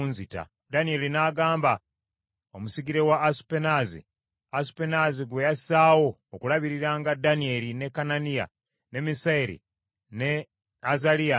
Awo Danyeri n’agamba omusigire wa Asupenaazi, Asupenaazi gwe yassaawo okulabiriranga Danyeri, ne Kananiya, ne Misayeri ne Azaliya nti,